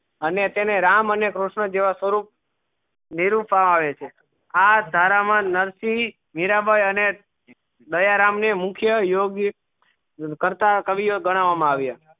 અને તેને રામ અને કૃષ્ણ જેવા સ્વરૂપ નીરુપ્વ માં આવે છે આ ધારા મા નરસિંહ મીરાં બાઈ અને દયારામ ને મુખ્ય યોગે કરતા કવિયો ગણવા માં આવ્યો